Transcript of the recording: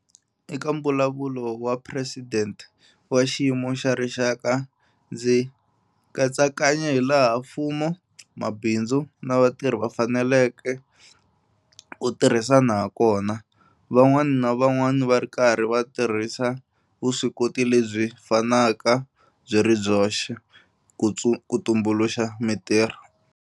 Eka Mbulavulo wa Presidente wa Xiyimo xa Rixaka, ndzi katsakanye hilaha mfumo, mabindzu na vatirhi va faneleke ku tirhisana hakona, van'wana na van'wana va ri karhi va tirhisa vuswikoti lebyi fanaka byi ri byoxe, ku tumbuluxa mitirho.